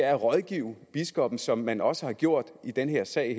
at rådgive biskoppen som man også har gjort i den her sag